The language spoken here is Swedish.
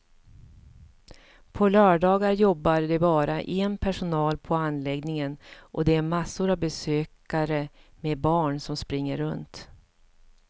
På lördagar jobbar det bara en personal på anläggningen och det är massor av besökare med barn som springer runt.